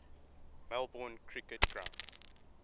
melbourne cricket ground